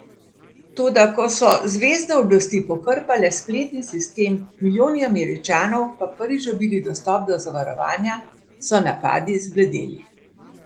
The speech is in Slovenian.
Toda ko so zvezne oblasti pokrpale spletni sistem, milijoni Američanov pa prvič dobili dostop do zavarovanja, so napadi zbledeli.